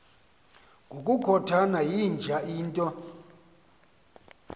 ngokukhothana yinja into